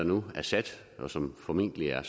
nu er sat og som formentlig er